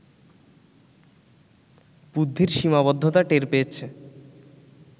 বুদ্ধির সীমাবদ্ধতা টের পেয়েছে